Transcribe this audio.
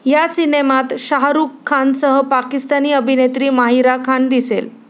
या सिनेमात शाहरुख खानसह पाकिस्तानी अभिनेत्री माहिरा खान दिसेल.